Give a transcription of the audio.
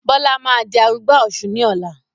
Bọlá máa di arugbá Ọ̀sun ni ọ̀la